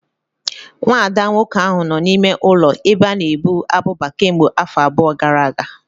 Nwa ada nwoke ahụ nọ n'ime ụlọ ebe a na-ebu abụba kemgbe afọ abụọ gara aga